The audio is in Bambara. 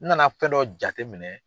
N na na fɛn dɔ jate minɛ.